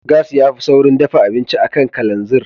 Gas ya fi saurin dafa abinci a kan kalanzir.